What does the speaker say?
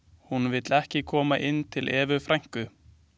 Hún vill ekki koma inn til Evu frænku.